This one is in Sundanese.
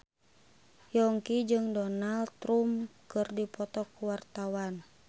Yongki jeung Donald Trump keur dipoto ku wartawan